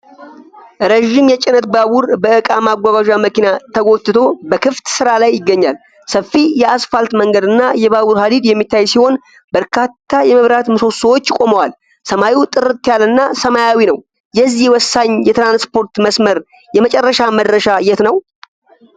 ረዥም የጭነት ባቡር በእቃ ማጓጓዣ መኪና ተጎትቶ በክፍት ስፍራ ላይ ይገኛል። ሰፊ የአስፋልት መንገድና የባቡር ሀዲድ የሚታይ ሲሆን፣ በርካታ የመብራት ምሰሶዎች ቆመዋል። ሰማዩ ጥርት ያለና ሰማያዊ ነው። የዚህ ወሳኝ የትራንስፖርት መስመር የመጨረሻ መድረሻ የት ነው?